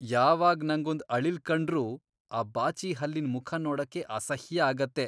ಯಾವಾಗ್ ನಂಗೊಂದ್ ಅಳಿಲ್ ಕಂಡ್ರೂ ಆ ಬಾಚಿಹಲ್ಲಿನ್ ಮುಖ ನೋಡಕ್ಕೇ ಅಸಹ್ಯ ಆಗತ್ತೆ.